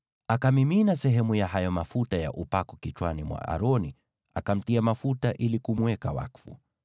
Akamimina sehemu ya hayo mafuta ya upako kichwani mwa Aroni, akamtia mafuta ili kumweka wakfu.